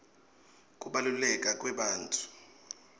kubaluleka kwebantfu